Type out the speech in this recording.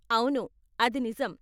అవును, అది నిజం.